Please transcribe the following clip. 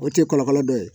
O tɛ kɔlɔlɔ dɔ ye